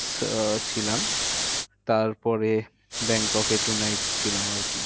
ছিলাম তারপরে ব্যাংককে to night ছিলাম আর কি।